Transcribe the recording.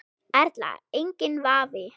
Erla: Enginn vafi?